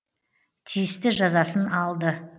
тиісті жазасын алды